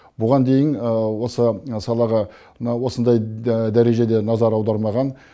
бұған дейін осы салаға мына осындай дәрежеде назар аудармаған